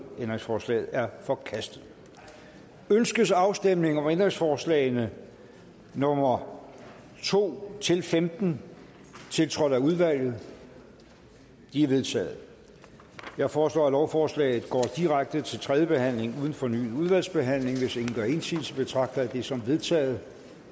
ændringsforslaget er forkastet ønskes afstemning om ændringsforslag nummer to femten tiltrådt af udvalget de er vedtaget jeg foreslår at lovforslaget går direkte til tredje behandling uden fornyet udvalgsbehandling hvis ingen gør indsigelse betragter jeg det som vedtaget